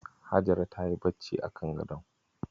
Hajara tayi bacci a kan gadon.